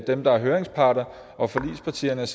dem der er høringsparter og forligspartierne